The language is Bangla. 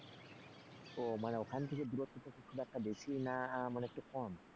ও মানে ওখান থেকে দূরত্বটা তো খুব একটা বেশি না মানে একটু কম।